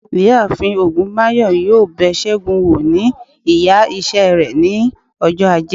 iyaafin ogunbayo yọọ bé según wọ̀ ní ìyá ise re ní òjó ajé